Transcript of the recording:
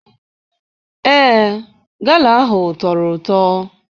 Ee, gala ahụ tọrọ ụtọ.